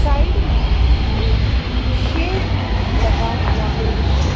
Side में एक shed लगा हुआ है।